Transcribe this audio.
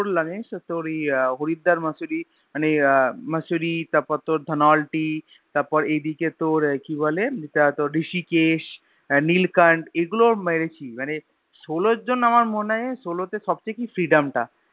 করলাম জানিস তো আমি তোর আহ Haridwar Mussoorie মানে Mussoorie তারপর তোর Dhanaulti তারপর এদিকে তোর কি বলে তোর Rishikesh আহ Neelkantha এগুলা মেরেছি মানে Solo জন্য আমার মনে হয় Solo তে সবচেয়ে কি Freedom টা